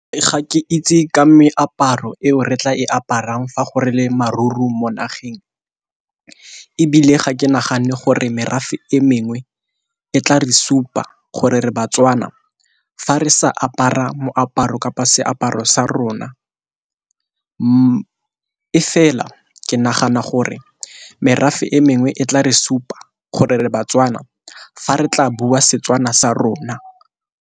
Ga ke itse ka meaparo eo re tla e aparang fa gore le maru-ru mo nageng, ebile ga ke nagane gore merafe e mengwe e tla re supa gore re baTswana fa re sa a apara moaparo kapa seaparo sa rona. E fela ke nagana gore merafe e mengwe e tla re supa gore re baTswana fa re tla bua Setswana sa rona.